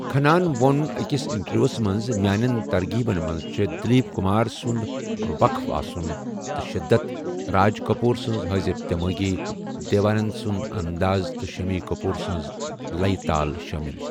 کھناہن ووٚن أکِس اِنٹروِیٛوہس منٛز 'میٛانیٚن ترغیبن منٛز چھےٚ دِلیٖپ کُمار سُند وقف آسُن تہٕ شِدَت، راج کٔپوٗر سز حٲضِر دیمٲغی، دیو آننٛد سُنٛد انٛداز تہٕ شٔمی کٔپور سٕنٛز لیہ تال شٲمِل